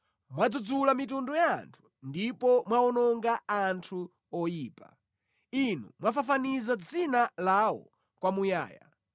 Mwadzudzula mitundu ya anthu ndipo mwawononga anthu oyipa; Inu mwafafaniza dzina lawo kwamuyaya.